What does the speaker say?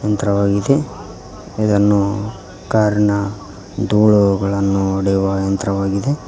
ದ್ರಾವಾಗಿದೆ ಇದನ್ನು ಕಾರ್ನ ದೂಳುಗಳನ್ನು ಹೊಡೆಯುವ ಯಂತ್ರವಾಗಿದೆ.